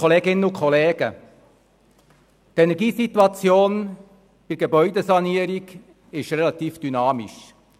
Die Energiesituation bei Gebäudesanierungen ist relativ dynamisch.